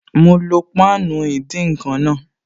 Mo lo páànù ìdín-nǹkan náà